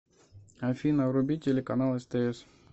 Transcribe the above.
афина вруби телеканал стс